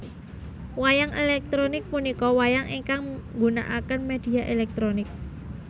Wayang elektronik punika wayang ingkang nggunaaken media elektronik